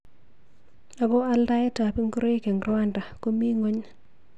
Ako aldaet ab ngoroik eng Rwanda komi nguny.